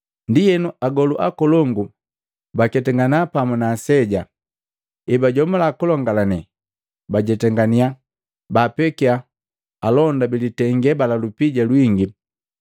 Ndienu, agolu akolongu baketangana pamu na aseja, ebajomula kulongalane bajetangania, baapekia alonda bilitenge bala lupija lwingi,